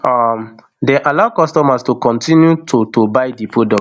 um dem allow customers to kotinu to to buy di product